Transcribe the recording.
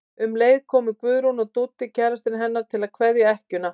Um leið komu Guðrún og Dúddi kærastinn hennar til að kveðja ekkjuna.